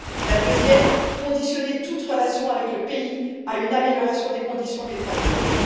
la deuxième, subordonner toute relation avec le pays à une amélioration de la situation des droits de l'homme